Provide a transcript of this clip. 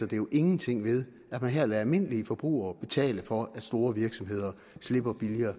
det jo ingenting ved at man her lader almindelige forbrugere betale for at store virksomheder slipper billigere